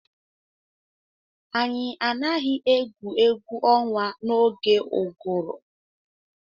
Anyị anaghị egwu egwu ọnwa n'oge ụgụrụ.